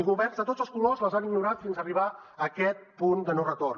i governs de tots els colors les han ignorat fins arribar a aquest punt de no retorn